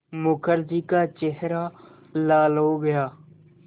मुखर्जी का चेहरा लाल हो गया